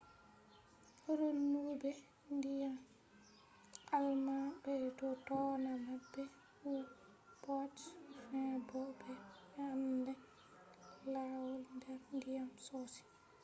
renube ndyan german be do dona mabbe u-boats.fin bo be ande lawaul der ndiyam sosai